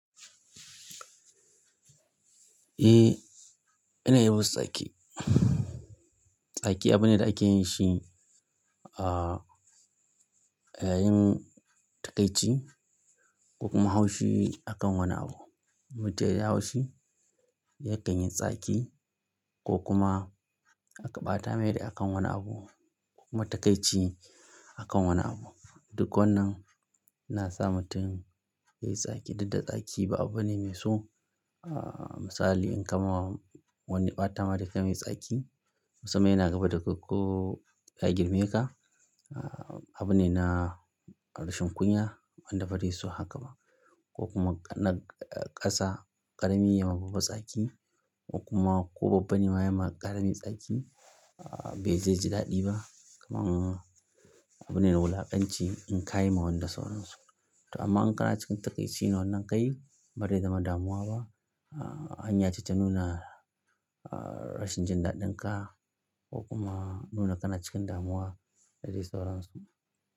Eh, ina yawan tsaki. Tsaki abu ne da ake yin shi, ah, a yayin takaici ko kuma haushi akan wani abu. Mutum ya yi haushi, yakan yi tsaki ko kuma aka ɓata rai akan wani abu ko kuma takaici akan wani abu. Duk wannan na sa mutum yayi tsaki. Dukda tsaki ba abu ne mai so. Ah, misali in ka ma wani ya ɓata ma rai kayi mai tsaki, musamman yana gaba da kai ko ya girme ka. Ah, abu ne na rashin kunya, wanda ba zai so haka ba. Ko kuma na ƙasa ƙarami yayi ma babba tsaki ko kuma ko babba ne ma ya ma ƙarami tsaki, ah, bai zai ji daɗi ba. Kaman abu ne na wulakanci in ka yi ma wani da sauransu. To amma in ka na cikin takaici ne wannan kayi, bazai zama damuwa ba. Ah, hanya ce ta nuna, ah, rashin jin daɗin ka ko kuma nuna kana cikin damuwa da dai sauransu.